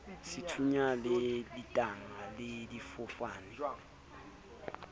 dithunya le ditanka le difofane